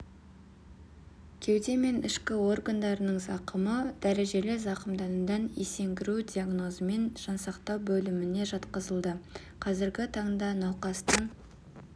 кеуде мен ішкі органдарының зақымы дәрежелі зақымданудан есеңгіру дигнозымен жансақтау бөліміне жатқызылды қазіргі таңда науқастың